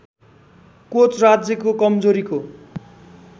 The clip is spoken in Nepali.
कोच राज्यको कमजोरीको